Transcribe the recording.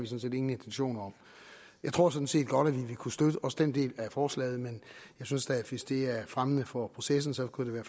set ingen intentioner om jeg tror sådan set godt at vi ville kunne støtte også den del af forslaget men jeg synes da at hvis det er fremmende for processen så kunne det